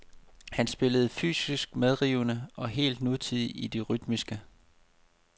Han spillede fysisk medrivende og helt nutidigt i det rytmiske.